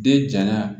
Den jalan